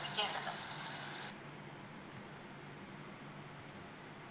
ദിക്കേണ്ടത്